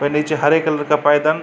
और नीचे हरे कलर का पायदान --